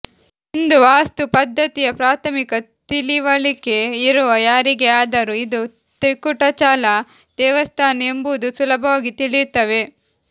ಹಿಂದೂ ವಾಸ್ತು ಪದ್ಧತಿಯ ಪ್ರಾಥಮಿಕ ತಿಳಿವಳಿಕೆ ಇರುವ ಯಾರಿಗೇ ಆದರೂ ಇದು ತ್ರಿಕುಟಾಚಲ ದೇವಸ್ಥಾನ ಎಂಬುದು ಸುಲಭವಾಗಿ ತಿಳಿಯುತ್ತವೆ